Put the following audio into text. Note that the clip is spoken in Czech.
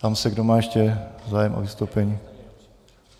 Ptám se, kdo má ještě zájem o vystoupení.